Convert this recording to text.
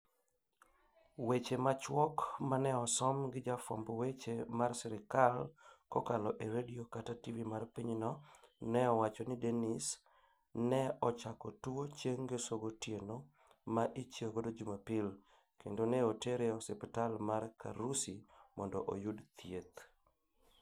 weche machuok maneosom gi jafwamb weche mar sirikal kokalo e redio kata tv mar pinyno. ne owacho ni denis ne ochako tuwo chieng ngeso gotieno ma ichiew go jumapil. kendo ne otere e ospital mar Karusi mondo oyud thieth.